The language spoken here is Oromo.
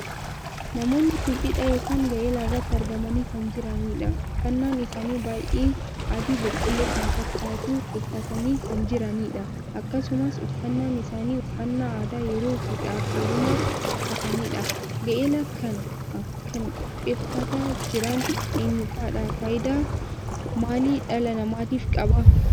Namoonni kun cidha ykn gaa'ela irratti argamanii kan jiraniidha. uffannaan isaanii baay'ee adii boqqolloo kan fakkaatu uffatanii kan jiraniidha. akkasumas uffannaan isaanii uffannaa aadaa yeroo fuudhaaaf heerumaaf uffataniidha. gaa'ela kana kan qopheeffataa jiran eenyufaadha? faayidaa maalii dhala namaatiif qaba?